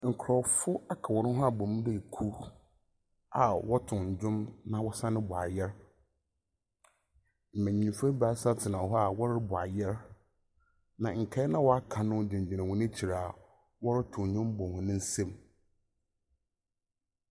Nkorɔfo aka hɔ n ho abɔ mu dɛ kuw a wɔtow ndwom na wɔsane bɔ ayer. Mbenyinfo ebaasa tsena hɔ a wɔrobɔ ayer, na nkae no a wɔaka no gyinagyina hɔ ekyir a wɔrotow ndwom bɔ hɔn nsamu.